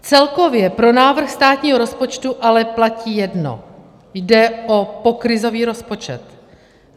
Celkově pro návrh státního rozpočtu ale platí jedno - jde o pokrizový rozpočet.